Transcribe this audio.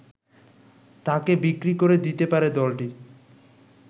তাকে বিক্রি করে দিতে পারে দলটি